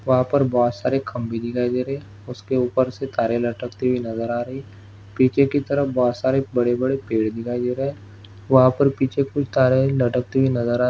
वहां पर बहुत सारे खंबे दिखाई दे रहे है उसके ऊपर से तारे लटकती हुई नज़र आ रहे है पीछे की तरफ बहुत सारे बड़े बड़े पेड़ दिखाई दे रहे है वाहा पर कुछ तारे लटकती हुई नज़र आ--